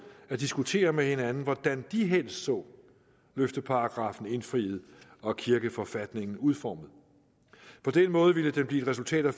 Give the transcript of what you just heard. at diskutere med hinanden hvordan de helst så løfteparagraffen indfriet og kirkeforfatningen udformet på den måde ville den blive et resultat af